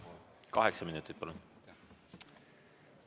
Kaheksa minutit, palun!